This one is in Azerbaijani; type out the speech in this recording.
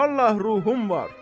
Vallahi ruhum var.